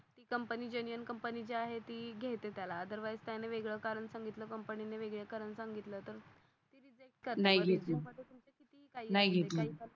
company genuine company जी आहे ती घेते त्याला अदर्वाईस त्याने वेगळ कारण संगीतल कंपनी ने वेगळ कारण सांगितल तर